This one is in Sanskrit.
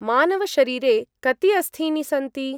मानव-शरीरे कति अस्थीनि सन्ति?